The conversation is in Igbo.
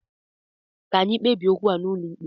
Ka anyị kpebie okwu a n'ụlọ ikpe!